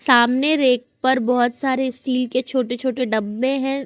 सामने रेक पर बहोत सारे स्टील के छोटे छोटे डब्बे हैं।